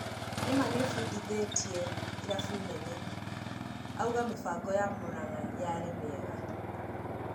Nĩma nĩbundithĩtie irabu nene, Auga mĩbango ya Muranga yarĩ mĩega.